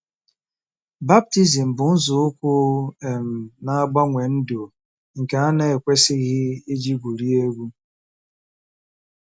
Baptizim bụ nzọụkwụ um na-agbanwe ndụ nke a na-ekwesịghị iji gwurie egwu.